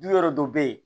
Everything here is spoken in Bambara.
Du wɛrɛ dɔ bɛ yen